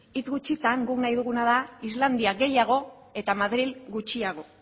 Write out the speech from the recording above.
hitz gutxitan guk nahi duguna da islandia gehiago eta madril gutxiago